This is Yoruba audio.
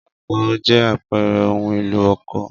Ọkọ́ jẹ́ àpẹẹrẹ ohun-èlò oko.